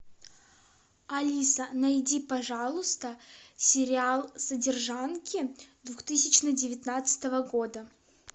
алиса найди пожалуйста сериал содержанки две тысячи девятнадцатого года